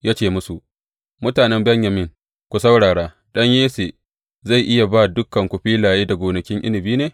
Ya ce musu, Mutanen Benyamin, ku saurara; ɗan Yesse zai iya ba dukanku filaye da gonakin inabi ne?